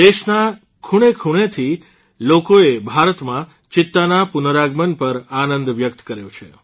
દેશના ખૂણેખૂણાથી લોકોએ ભારતમાં ચિત્તાના પુનરાગમન પર આનંદ વ્યક્ત કર્યો છે